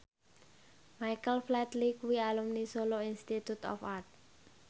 Michael Flatley kuwi alumni Solo Institute of Art